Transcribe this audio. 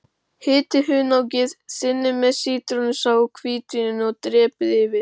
Hitið hunangið, þynnið með sítrónusafanum og hvítvíninu og dreypið yfir.